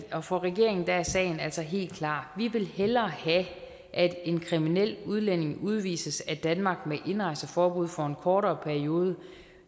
for regeringen er sagen altså helt klar vi vil hellere have at en kriminel udlænding udvises af danmark med indrejseforbud for en kortere periode